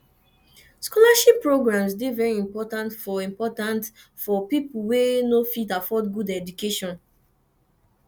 scholarship programmes de very important for important for pipo wey no fit afford good education